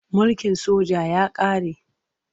Mulkin soja ya ƙare.